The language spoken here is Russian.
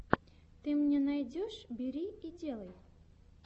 ты мне найдешь бери и делай